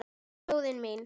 Þjóðin mín.